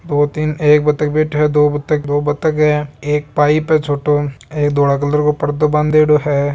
दो तीन एक बतक बैठा है दो बतक दो बतक है एक पाइप है छोटो एक धोळे कलर को पर्दो बांधेडो है।